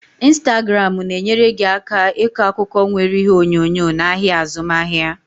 Instagramu na-enyere gị aka ịkọ akụkọ nwere ihe onyonyo n'ahịa azụmaahịa.